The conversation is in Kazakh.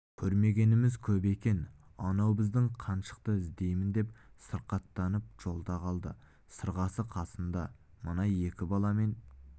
көрмегеніміз көп екен анау біздің қаншықты іздеймін деп сырқаттанып жолда қалды сырғасы қасында мына екі баламен